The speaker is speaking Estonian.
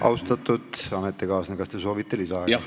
Austatud ametikaaslane, kas te soovite lisaaega?